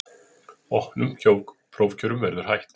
Opnum prófkjörum verði hætt